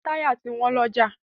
Táyà ti wọ́n lọ́jà.